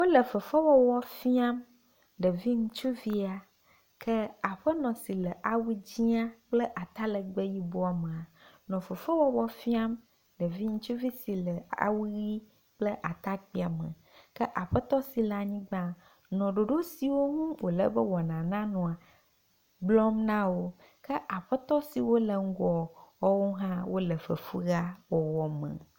wole fefe wɔwɔ fiam ɖevi ŋutsuvia ke aƒenɔ si le awu dzĩa kple atalegbe yibɔ mea fefewɔwɔ fiam ɖevi ŋtsuvi si le awu ɣi kple atakpia me ke aƒetɔ si le anyigbã nɔ ɖoɖo siwo ŋu wolebe wɔna nanɔa gblɔm nawo ke aƒetɔ siwo le ŋgɔ woawo hã wóle fefea me